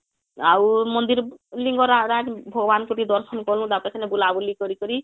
ଆଉ ମନ୍ଦିର ଲିଙ୍ଗରାଜ ଭଗବାନ ଙ୍କୁ ଟିକେ ଦର୍ଶନ କଲୁ ତାପରେ ସେନୁ ବୁଲା ବୁଲି କରିକରି